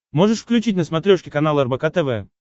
можешь включить на смотрешке канал рбк тв